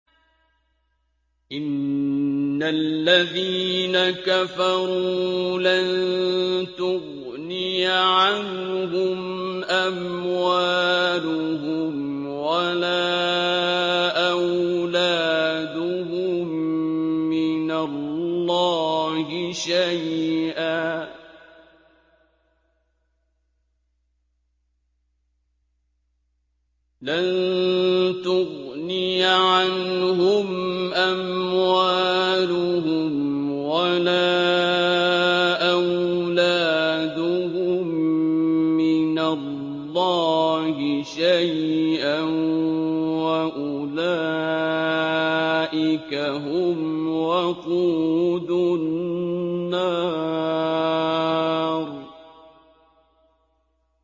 إِنَّ الَّذِينَ كَفَرُوا لَن تُغْنِيَ عَنْهُمْ أَمْوَالُهُمْ وَلَا أَوْلَادُهُم مِّنَ اللَّهِ شَيْئًا ۖ وَأُولَٰئِكَ هُمْ وَقُودُ النَّارِ